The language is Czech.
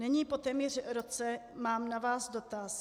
Nyní, po téměř roce, mám na vás dotaz.